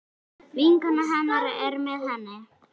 Vinkona hennar er með henni.